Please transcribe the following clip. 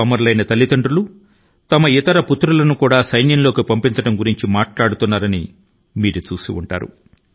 అమరవీరుల తల్లిదండ్రులు తమ ఇతర కుమారుల ను ఇతర యువ కుటుంబ సభ్యుల ను కూడా సైన్యం లో చేరవలసిందని సూచించడాన్ని మీరు గమనించే ఉంటారు